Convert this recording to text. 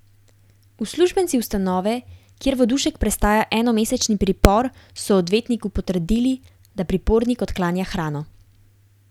Uslužbenci ustanove, kjer Vodušek prestaja enomesečni pripor, so odvetniku potrdili, da pripornik odklanja hrano.